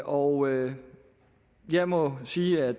og jeg må sige at